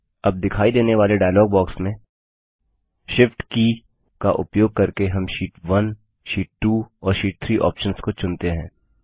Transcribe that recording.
अब दिखाई देने वाले डायलॉग बॉक्स में shift की का उपयोग करके हम शीट 1 शीट 2 और शीट 3 ऑप्शन्स को चुनते हैं